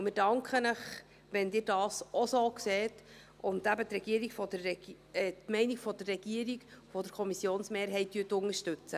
Wir danken Ihnen, wenn sie dies auch so sehen und die Meinung der Regierung und der Kommissionsmehrheit unterstützen.